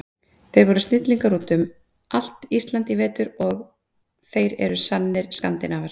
Þeir voru snillingar út um allt Ísland í vetur og þeir eru sannir Skandinavar.